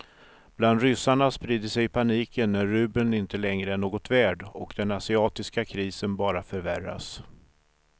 Bland ryssarna sprider sig paniken när rubeln inte längre är något värd och den asiatiska krisen bara förvärras.